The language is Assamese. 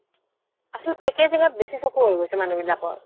আছলতে বেচি চকু হৈ গৈছে মানুহ বিলাকৰ